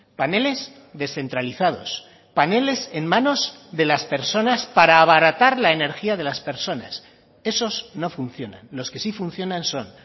paneles descentralizados paneles en manos de las personas para abaratar la energía de las personas esos no funcionan los que sí funcionan son